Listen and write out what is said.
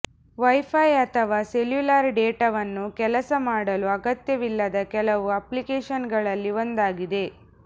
wifi ಅಥವಾ cellular ಡೇಟಾವನ್ನು ಕೆಲಸ ಮಾಡಲು ಅಗತ್ಯವಿಲ್ಲದ ಕೆಲವು ಅಪ್ಲಿಕೇಶನ್ಗಳಲ್ಲಿ ಒಂದಾಗಿದೆ